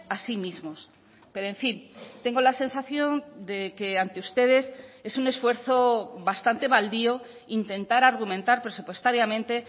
a sí mismos pero en fin tengo la sensación de que ante ustedes es un esfuerzo bastante baldío intentar argumentar presupuestariamente